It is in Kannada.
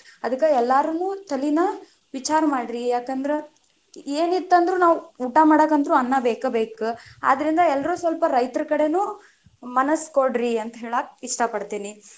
ಅದಕ್ಕ ಎಲ್ಲಾರೂನು ತಲಿನ ವಿಚಾರ ಮಾಡ್ರಿ, ಯಾಕಂದ್ರ ಏನ್ ಇತ್ತಂದ್ರು ನಾವ್ ಊಟಾ ಮಾಡಾಕ ಅಂತರು ಅನ್ನಾ ಬೇಕ ಬೇಕ, ಆದರಿಂದ ಎಲ್ಲರು ಸ್ವಲ್ಪ ರೈತರ ಕಡೆನು ಮನಸ ಕೊಡ್ರಿ ಅಂತ ಹೇಳಾಕ ಇಷ್ಟ ಪಡ್ತಿನಿ.